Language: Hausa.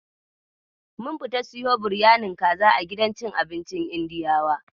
Mun fita siyo biryanin kaza a gidan cin abincin Indiyawan.